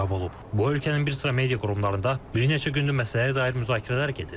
Bu ölkənin bir sıra media qurumlarında bir neçə gündür məsələyə dair müzakirələr gedir.